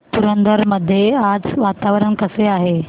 पुरंदर मध्ये आज वातावरण कसे आहे